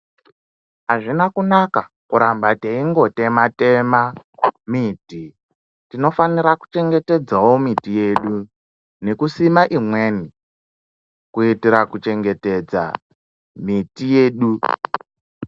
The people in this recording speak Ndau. Azvina kunaka kuramba teingo tema tema miti tinofanira ku chengetedzawo miti yedu neku sima imweni kuitira kuchengetedza miti yedu.